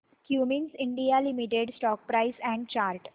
Cummins India limited stock price and chart